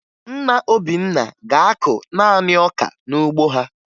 Nna Obinna ga-akụ naanị ọka n'ugbo ha